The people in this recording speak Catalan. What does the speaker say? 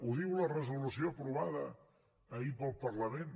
ho diu la resolució aprovada ahir pel parlament